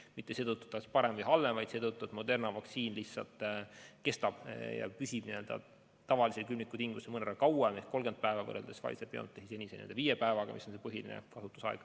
Seda mitte seetõttu, et see on parem või halvem, vaid seetõttu, et Moderna vaktsiin püsib tavalises külmikus mõnevõrra kauem ehk 30 päeva võrreldes Pfizer/BioNTechi viie päevaga, mis on põhiline kasutusaeg.